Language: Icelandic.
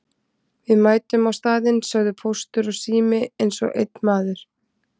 Við mætum á staðinn sögðu Póstur og Sími eins og einn maður.